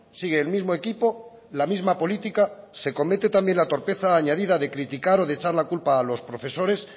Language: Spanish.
sigue el mismo equipo la misma política se comete también la torpeza añadida de criticar o de echar la culpa a los profesores